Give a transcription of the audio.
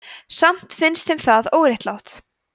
samt finnst þeim það óréttlátt